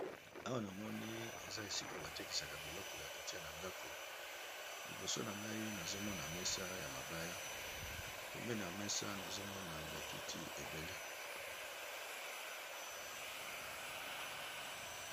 awa na moni eza esika batekisaka biloko ya kotia na ndako liboso na ngai nazomona mesa ya mabaya pemena mesa nazomona bakiti ebele